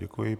Děkuji.